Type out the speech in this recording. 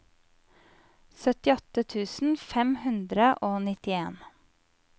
syttiåtte tusen fem hundre og nittien